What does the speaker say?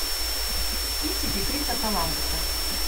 кинчики криса коламбуса